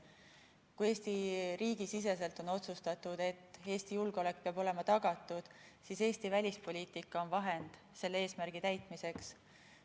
Kui Eesti riigi siseselt on otsustatud, et Eesti julgeolek peab olema tagatud, siis Eesti välispoliitika on vahend selle eesmärgi täitmiseks.